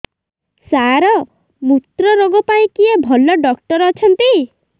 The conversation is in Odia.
ସାର ମୁତ୍ରରୋଗ ପାଇଁ କିଏ ଭଲ ଡକ୍ଟର ଅଛନ୍ତି